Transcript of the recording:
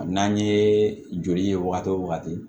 N'an ye joli ye wagati o wagati